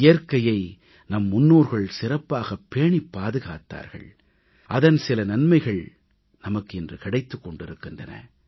இயற்கையை நம் முன்னோர்கள் சிறப்பாகப் பேணிப் பாதுகாத்தார்கள் அதன் சில நன்மைகள் நமக்கு இன்று கிடைத்துக் கொண்டிருக்கின்றன